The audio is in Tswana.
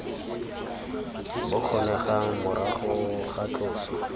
bo kgonegang morago ga tloso